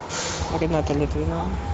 рената литвинова